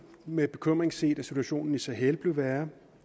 med bekymring set at situationen i sahel blev værre